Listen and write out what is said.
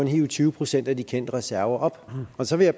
hive tyve procent af de kendte reserver op så jeg